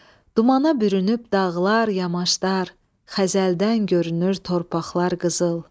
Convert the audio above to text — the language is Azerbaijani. Dumana bürünüb dağlar, yamaçlar, xəzəldən görünür torpaqlar qızıl.